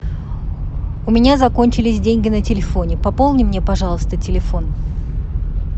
у меня закончились деньги на телефоне пополни мне пожалуйста телефон